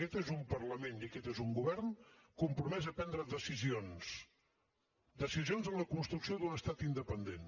aquest és un parlament i aquest és un govern compromès a prendre decisions decisions en la construcció d’un estat independent